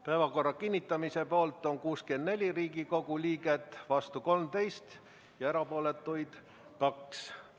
Päevakorra kinnitamise poolt on 64 Riigikogu liiget, vastu 13 ja erapooletuid 2.